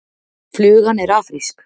Flugan er afrísk.